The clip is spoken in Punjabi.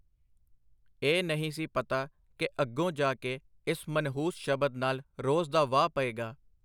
ਇਹ ਨਹੀਂ ਸੀ ਪਤਾ ਕਿ ਅੱਗੋਂ ਜਾ ਕੇ ਇਸ ਮਨਹੂਸ ਸ਼ਬਦ ਨਾਲ ਰੋਜ਼ ਦਾ ਵਾਹ ਪਏਗਾ.